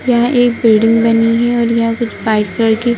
यह एक बिल्डिंग बनी है और यहाँ कुछ पाइप --